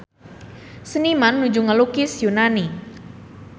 Seniman nuju ngalukis Yunani